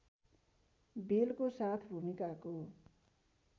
बेलको साथ भूमिकाको